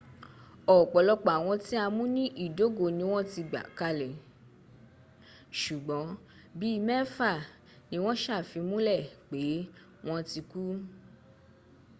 ọ̀pọ̀lọpọ̀ àwọn tí a mú ní ìdógó ni wọ́n ti gbà kalẹ̀ ṣùgbọ́n bíi mẹ́fà ni wọ́n sàfimúnlẹ̀ pé wọ́n ti kú